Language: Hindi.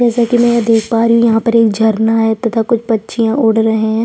जैसे की में देख पा रही हूँ यहाँ पर एक झरना है तथा कुछ पक्षियाँ उड़ रहै है।